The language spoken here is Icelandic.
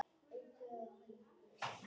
Fjórar breytingar eru á liðinu.